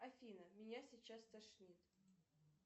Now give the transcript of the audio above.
афина меня сейчас стошнит